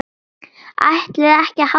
ÆTLIÐI EKKI AÐ HALDA ÁFRAM?